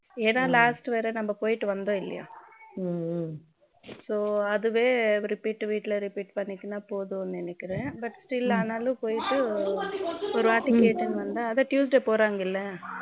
இடம் last தடவை நம்ம போயிட்டு வந்தோம் இல்லையா so அதுவே repeat வீட்ல repeat பண்ணிக்கினா போதும்னு நினைக்கிறேன் but still ஆனாலும் ஒருவாட்டி கேட்டுட்டு வந்தா அதான் Tuesday போறாங்க இல்ல